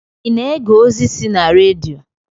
I na-ege ozi si na redio?